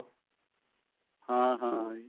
ਹਾ ਹਾਂ ਜੀ